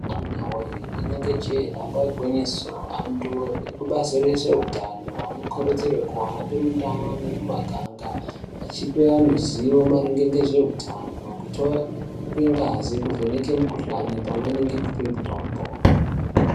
Amuna yoye rinenge jee damba igwinyiso antu ekubazi rezveutano anokurudzirwe kuhamba mundaa nemumaganga. Achipe vantu zivo maringe ngezveutano, kutore ngazi kuvheneka mikuhlani pamwe ngekupive mutombo.